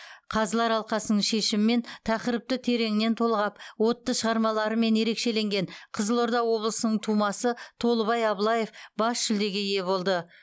қазылар алқасының шешімімен тақырыпты тереңінен толғап отты шығармаларымен ерекшеленген қызылорда облысының тумасы толыбай абылаев бас жүлдеге ие болды